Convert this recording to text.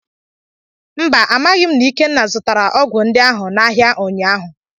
Mba, amaghị m na Ikenna zutara ogwu ndi ahụ n'ahia ụnyaahụ.